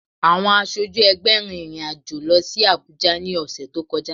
Àwọn aṣojú ẹgbẹ́ rin ìrìn àjò lọ sí Abùjá ní ọ̀sẹ̀ tó kọjá